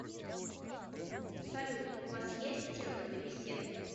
салют у вас есть темы для бесед